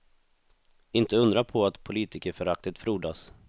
Inte undra på att politikerföraktet frodas.